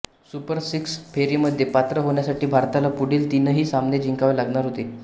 super six फेरीमध्ये पात्र होण्यासाठी भारताला पुढील तीनही सामने जिंकावे लागणार होते